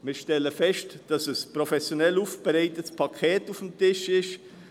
Wir stellen fest, dass ein professionell aufbereitetes Paket auf dem Tisch liegt.